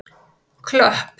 Klöpp